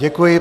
Děkuji.